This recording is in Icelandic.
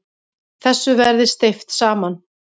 Þessu verði steypt saman.